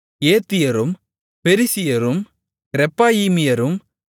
ஏத்தியரும் பெரிசியரும் ரெப்பாயீமியரும்